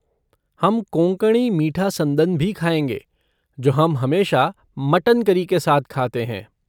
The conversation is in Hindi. हम कोंकणी मीठा संदन भी खाएँगे जो हम हमेशा मटन करी के साथ खाते हैं।